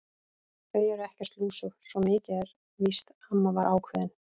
Þau eru ekkert lúsug, svo mikið er víst amma var ákveðin.